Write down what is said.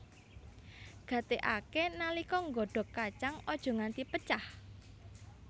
Gatékaké nalika nggodhog kacang aja nganti pecah